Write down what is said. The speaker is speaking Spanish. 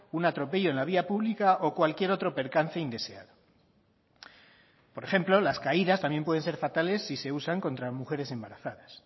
un atropello en la vía pública o cualquier otro percance indeseado por ejemplo las caídas también pueden ser fatales si se usan contra mujeres embarazadas